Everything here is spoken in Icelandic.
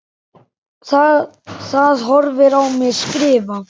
Það horfir á mig skrifa.